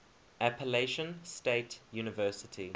appalachian state university